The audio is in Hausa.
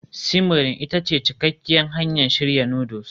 simmering ita ce cikakkiyar hanyar shirya noodles